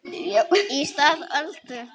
Í stað Öldu